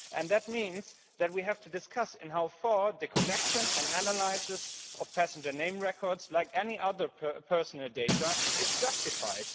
That means that we have to discuss how far the collection and analysis of Passenger Name Records, like any other personal data, is justified.